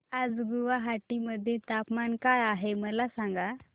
आज गुवाहाटी मध्ये तापमान काय आहे मला सांगा